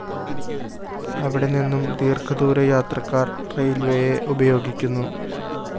അവിടെനിന്നും ദീര്‍ഘദൂരയാത്രക്കാര്‍ റെയില്‍വേയെ ഉപയോഗിക്കുന്നു